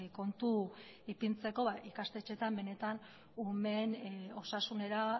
kontu ipintzeko ikastetxeetan benetan umeen osasunera